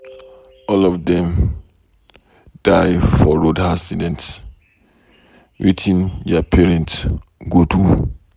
All of dem die for road accident. Wetin their parents go do.